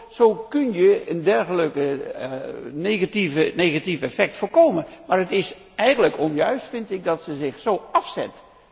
Zo kun je een dergelijk negatief effect voorkomen. Maar het is eigenlijk onjuist, vind ik, dat zij zich zo afzet.